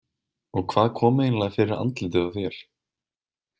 Og hvað kom eiginlega fyrir andlitið á þér?